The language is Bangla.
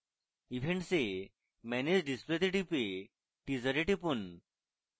events এ manage display এ টিপে teaser এ টিপুন